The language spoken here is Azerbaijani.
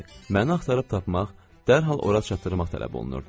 Məni axtarıb tapmaq, dərhal ora çatdırmaq tələb olunurdu.